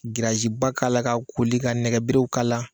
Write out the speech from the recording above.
ba k' la ka koli ka nɛgɛbeerew ka la.